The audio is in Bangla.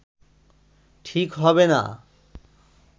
ঠিক হবে না